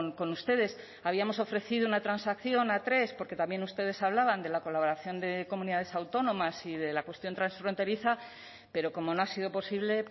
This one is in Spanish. con ustedes habíamos ofrecido una transacción a tres porque también ustedes hablaban de la colaboración de comunidades autónomas y de la cuestión transfronteriza pero como no ha sido posible